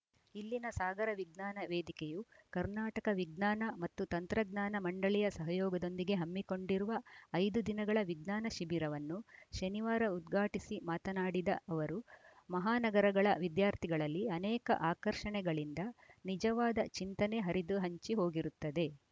ಇಲ್ಲಿನ ಸಾಗರ ವಿಜ್ಞಾನ ವೇದಿಕೆಯು ಕರ್ನಾಟಕ ವಿಜ್ಞಾನ ಮತ್ತು ತಂತ್ರಜ್ಞಾನ ಮಂಡಳಿಯ ಸಹಯೋಗದೊಂದಿಗೆ ಹಮ್ಮಿಕೊಂಡಿರುವ ಐದು ದಿನಗಳ ವಿಜ್ಞಾನ ಶಿಬಿರವನ್ನು ಶನಿವಾರ ಉದ್ಘಾಟಿಸಿ ಮಾತನಾಡಿದ ಅವರು ಮಹಾನಗರಗಳ ವಿದ್ಯಾರ್ಥಿಗಳಲ್ಲಿ ಅನೇಕ ಆಕರ್ಷಣೆಗಳಿಂದ ನಿಜವಾದ ಚಿಂತನೆ ಹರಿದು ಹಂಚಿ ಹೋಗಿರುತ್ತದೆ